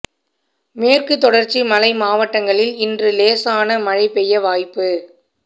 மேற்குத் தொடா்ச்சி மலை மாவட்டங்களில் இன்று லேசான மழை பெய்ய வாய்ப்பு